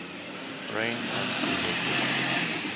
Brain and behavior.